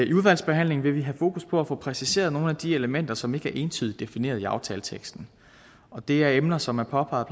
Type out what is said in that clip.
i udvalgsbehandlingen vil vi have fokus på at få præciseret nogle af de elementer som ikke er entydigt defineret i aftaleteksten og det er emner som er påpeget